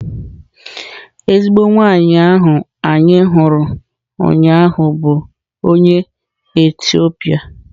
Ezigbo nwanyị ahụ anyị hụrụ ụnyaahụ bụ onye Etiopia